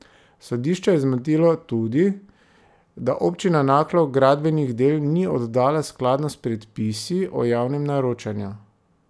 Sodišče je zmotilo tudi, da občina Naklo gradbenih del ni oddala skladno s predpisi o javnem naročanju.